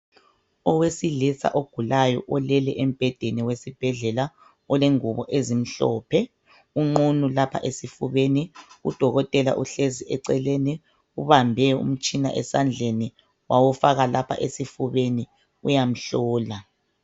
Owesilisa ogulayo olele embhedeni wesibhedlela olengubo ezimhlophe. Unqunu lapha esifubeni , udokothela uhlezi eceleni .Ubambe umtshina esandleni wawufaka lapha esifubeni uyamhlola.